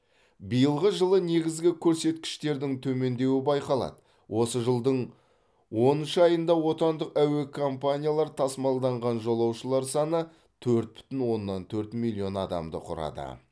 биылғы жылы негізгі көрсеткіштердің төмендеуі байқалады осы жылдың оныншы айында отандық әуе компаниялар тасымалданған жолаушылар саны төрт бүтін оннан төрт миллион адамды құрады